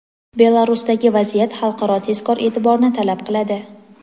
Belarusdagi vaziyat xalqaro tezkor e’tiborni talab qiladi.